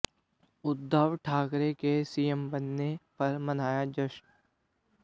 उद्धव ठाकरे के सीएम बनने पर मनाया जश्न